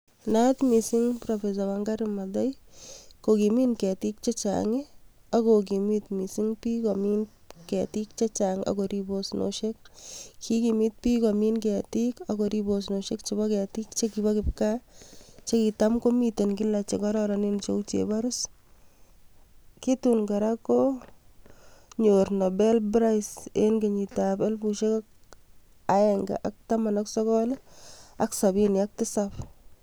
Naat mising professor Wangari Mathai kokimin ketik chechang ak kokimit mising biik komin ketik chechang ak korib osnosiek, kokimit biik komin ketik ak korib osnosiek chekibo ketik chekibo kipkaa chekitam komiten kila chekororonen cheuu cheborus, kitun kora konyor Nobel prize en kenyitab elibushek aeng'e ak taman ak sokol ak sobini ak tisab.